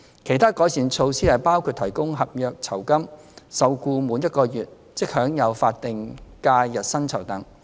其他改善措施包括提供合約酬金，受僱滿1個月即享有法定假日薪酬等。